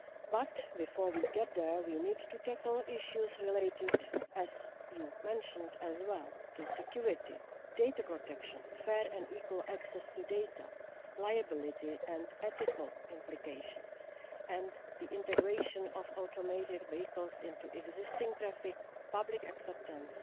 But before we get there, we need to tackle issues related as you mentioned as well to security, data protection, fair and equal access to data, liability and ethical implications and the integration of automated vehicles into existing traffic, public acceptance,